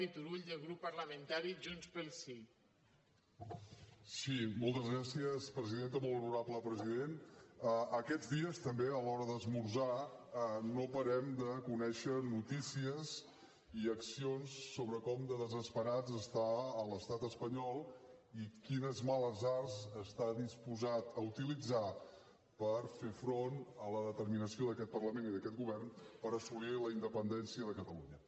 molt honorable president aquests dies també a l’hora d’esmorzar no parem de conèixer noticies i accions sobre com de desesperat està l’estat espanyol i quines males arts està disposat a utilitzar per fer front a la determinació d’aquest parlament i d’aquest govern per assolir la independència de catalunya